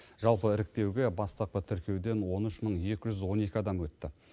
жалпы іріктеуге бастапқы тіркеуден он үш мың екі жүз он екі адам өтті